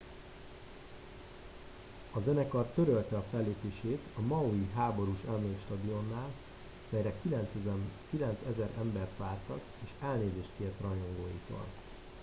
a zenekar törölte a fellépést a maui háborús emlékstadionnál melyre 9000 embert vártak és elnézést kért rajongóitól